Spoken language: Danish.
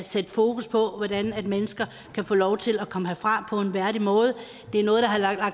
sætte fokus på hvordan mennesker kan få lov til at komme herfra på en værdig måde det er noget der